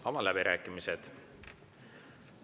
Avan läbirääkimised.